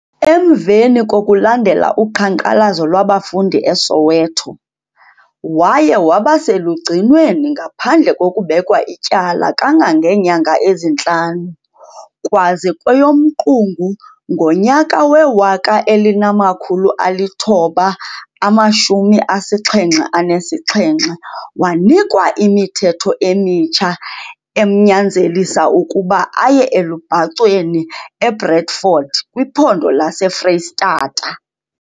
Emveni kokulandelela uqhankqalazo lwabafundi eSoweto, waye wabaselugcinweni ngaphandle kokubekwa ityala kangangeenyanga ezintlanu, kwaze kweyoMqungu ngonyaka we-1977 wanikwa imithetho emitsha emnyanzelisa ukuba aye elubhacweni eBredfort kwiphondo lase Freyistatata